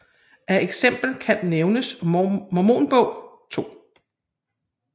Af eksempler kan nævnes Mormon Bog 2